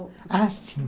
Ah, sim.